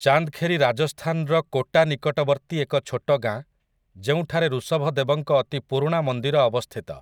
ଚାନ୍ଦ୍‌ଖେରି ରାଜସ୍ଥାନର କୋଟା ନିକଟବର୍ତ୍ତୀ ଏକ ଛୋଟ ଗାଁ ଯେଉଁଠାରେ ଋଷଭଦେବଙ୍କ ଅତି ପୁରୁଣା ମନ୍ଦିର ଅବସ୍ଥିତ ।